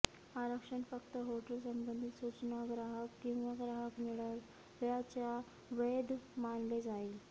आरक्षण फक्त हॉटेल संबंधित सूचना ग्राहक किंवा ग्राहक मिळाल्याच्या वैध मानले जाईल